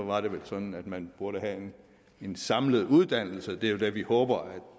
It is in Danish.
var det vel sådan at man burde have en samlet uddannelse det er jo det vi håber